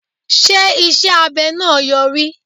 Ṣé iṣẹ́ abẹ náà Yọrí.?